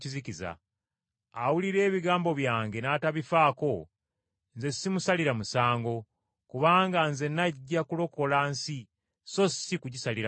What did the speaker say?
“Awulira ebigambo byange n’atabifaako, Nze simusalira musango, kubanga Nze najja kulokola nsi so si kugisalira musango.